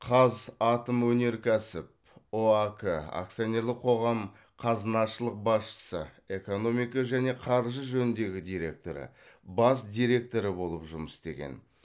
қазатомөнеркәсіп ұак акционерлік қоғам қазынашылық басшысы экономика және қаржы жөніндегі директоры бас директоры болып жұмыс істеген